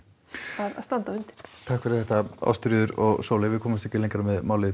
að standa undir takk fyrir þetta Ásthildur og Sóley við komumst ekki lengra með